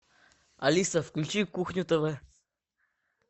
алиса включи кухню тв